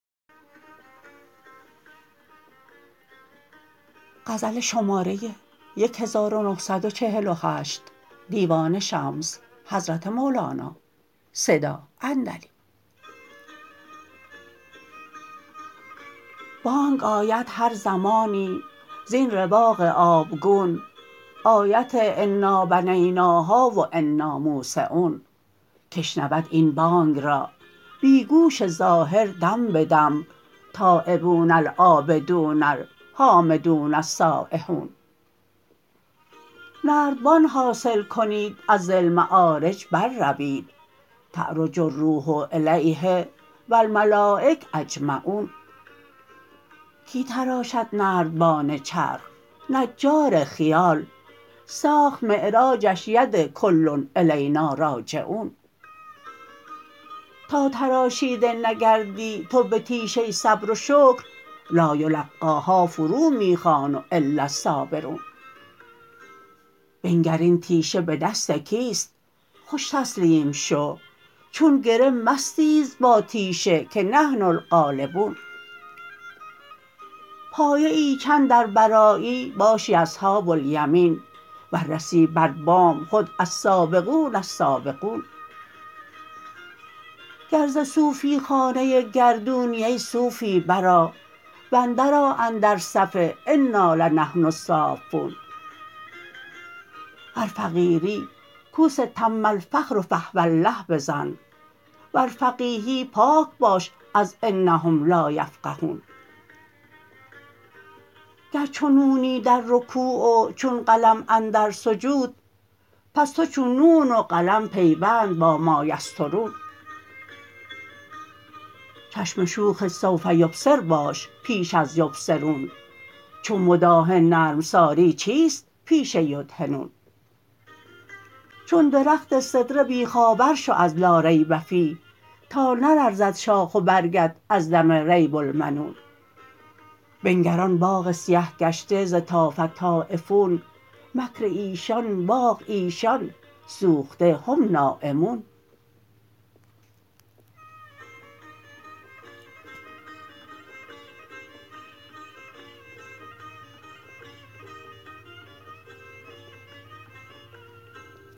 بانگ آید هر زمانی زین رواق آبگون آیت انا بنیناها و انا موسعون کی شنود این بانگ را بی گوش ظاهر دم به دم تایبون العابدون الحامدون السایحون نردبان حاصل کنید از ذی المعارج برروید تعرج الروح الیه و الملایک اجمعون کی تراشد نردبان چرخ نجار خیال ساخت معراجش ید کل الینا راجعون تا تراشیده نگردی تو به تیشه صبر و شکر لایلقیها فرو می خوان و الاالصابرون بنگر این تیشه به دست کیست خوش تسلیم شو چون گره مستیز با تیشه که نحن الغالبون پایه ای چند ار برآیی باشی اصحاب الیمین ور رسی بر بام خود السابقون السابقون گر ز صوفی خانه گردونی ای صوفی برآ و اندرآ اندر صف انا لنحن الصافون ور فقیری کوس تم الفقر فهو الله بزن ور فقیهی پاک باش از انهم لا یفقهون گر چو نونی در رکوع و چون قلم اندر سجود پس تو چون نون و قلم پیوند با مایسطرون چشم شوخ سوف یبصر باش پیش از یبصرون چو مداهن نرم سازی چیست پیش یدهنون چون درخت سدره بیخ آور شو از لا ریب فیه تا نلرزد شاخ و برگت از دم ریب المنون بنگر آن باغ سیه گشته ز طاف طایف مکر ایشان باغ ایشان سوخته هم نایمون